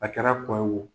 A kɛra kɔɲɔ ye wo